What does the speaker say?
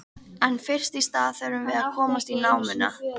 En fyrst í stað þurfum við að komast í námuna.